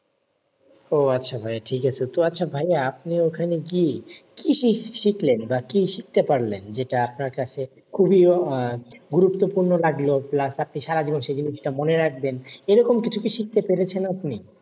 ও আচ্ছা ভাই। ঠিক আছে। তো আচ্ছা ভাইয়া, আপনি ওখানে গিয়ে কী শিখলেন বা কী শিখতে পারলেন যেটা আপনার কাছে খুবই গুরুত্বপূর্ণ লাগল প্লাস আপনি সারাজীবন সে জিনিসটা মনে রাখবেন? এরকম কিছু কি শিখতে পেরেছেন আপনি?